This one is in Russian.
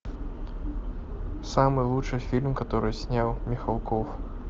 самый лучший фильм который снял михалков